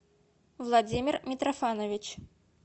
владимир митрофанович